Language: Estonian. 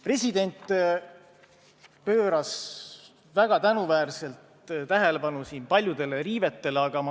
President pööras väga tänuväärselt tähelepanu siin paljudele riivetele.